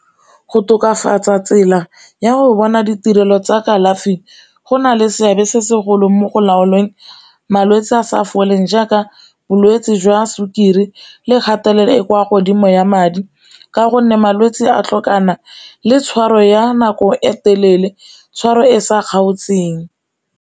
Go tokafatsa tsela ya go bona ditirelo tsa kalafi go na le seabe se segolo mo go laolweng malwetsi a sa foleng jaaka bolwetse jwa sukiri le kgatelelo e kwa godimo ya madi, ka gonne malwetse a tlhokana le tshwaro ya nako e telele tshwaro e sa kgaotseng.